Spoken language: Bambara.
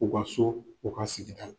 U ka so u ka sigida la.